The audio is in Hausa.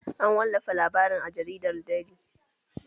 An wallafa labarin a jaridar deli